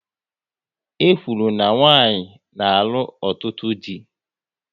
E kwuru na nwanyị na-alụ ọtụtụ dị